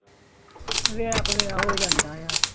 ਵੇ ਆਪ ਵੇ ਆਹੋ ਜਾਂਦਾ ਆ